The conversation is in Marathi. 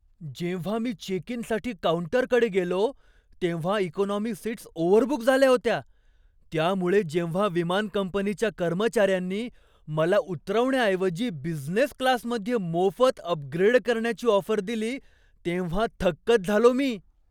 जेव्हा मी चेक इनसाठी काऊंटरकडे गेलो तेव्हा इकॉनॉमी सीट्स ओव्हरबुक झाल्या होत्या, त्यामुळे जेव्हा विमान कंपनीच्या कर्मचाऱ्यांनी मला उतरवण्याऐवजी बिझनेस क्लासमध्ये मोफत अपग्रेड करण्याची ऑफर दिली तेव्हा थक्कच झालो मी.